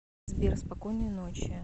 сбер спокойной ночи